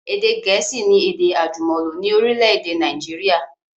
Èdè gẹ̀ẹ́sì ni èdè àjùmọ̀lò ni orílẹ̀èdè Nàìjíríà